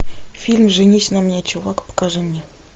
фильм женись на мне чувак покажи мне